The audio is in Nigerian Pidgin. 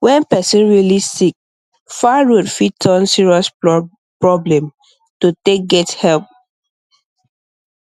when person really sick far road fit turn serious problem to take get help